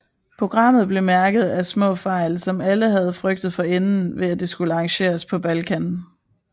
Programmet blev mærket af små fejl som alle havde frygtet forinden ved at det skulle arrangeres på Balkan